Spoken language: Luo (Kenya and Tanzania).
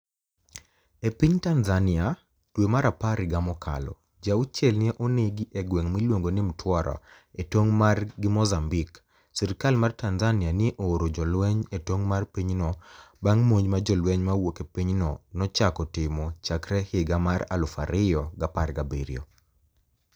E piniy Tanizaniia dwe mar apar higa mokalo, ji auchiel ni e oni egi e gwenig miluonigo nii Mtwara, e tonig ' mar gi Mozambique. Sirkal mar Tanizaniia ni e ooro jolweniy e tonig ' mar piny no banig ' monij ma jolweniy mawuok e piny no nochako timo chakre higa mar 2017.